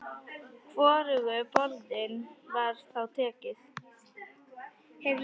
Hvorugu boðinu var þá tekið.